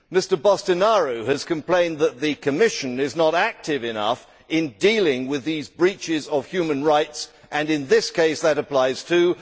Mr Boştinaru has complained that the Commission is not active enough in dealing with these breaches of human rights and in this case that applies too.